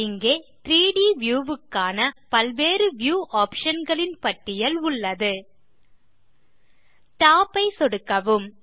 இங்கே 3ட் வியூ க்கான பல்வேறு வியூ ஆப்ஷன் களின் பட்டியல் உள்ளது டாப் ஐ சொடுக்கவும்